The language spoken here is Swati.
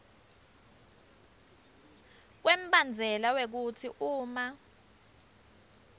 kwembandzela wekutsi uma